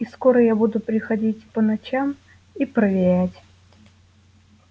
и скоро я буду приходить по ночам и проверять